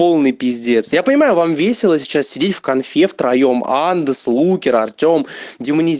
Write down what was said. полный пиздец я понимаю вам весело сейчас сидеть в конфе втроём андос лукер артем демониз